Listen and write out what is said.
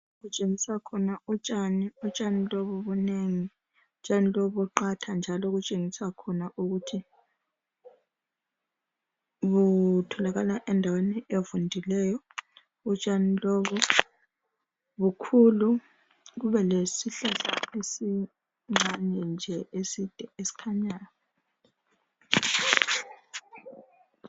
Kutshengiswa khona utshani, utshani lobu bunengi, utshani lobu buqatha njalo butshengiswa khona ukuthi butholakala endaweni evundileyo. Utshani lobu bukhulu kube lesihlahla esincane nje eside esikhanyayo.